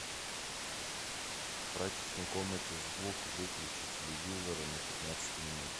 в прачечной комнате звук выключи телевизора на пятнадцать минут